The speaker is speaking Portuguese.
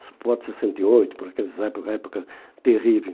Isso pode ser sessenta e oito, por aquelas época época terrível.